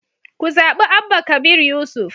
Ku zaɓi Abba Kabir Yusuf